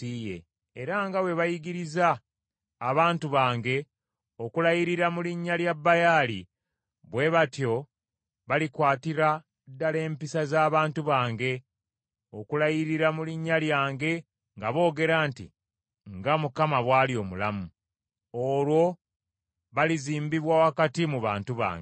Era nga bwe bayigiriza abantu bange okulayirira mu linnya lya Baali bwe batyo balikwatira ddala empisa z’abantu bange, okulayirira mu linnya lyange nga boogera nti, ‘Nga Mukama bw’ali omulamu,’ olwo balizimbibwa wakati mu bantu bange.